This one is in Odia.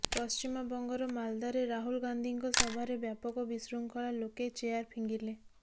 ପଶ୍ଚିମବଙ୍ଗର ମାଲଦାରେ ରାହୁଲ ଗାନ୍ଧୀଙ୍କ ସଭାରେ ବ୍ୟାପକ ବିଶୃଙ୍ଖଳା ଲୋକେ ଚେୟାର ଫିଙ୍ଗିଲେ